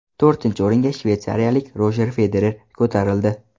To‘rtinchi o‘ringa shveysariyalik Rojer Federer ko‘tarildi.